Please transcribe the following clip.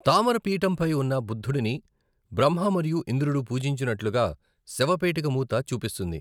తామర పీఠంపై ఉన్న బుద్ధుడిని బ్రహ్మ మరియు ఇంద్రుడు పూజించినట్లుగా శవపేటిక మూత చూపిస్తుంది.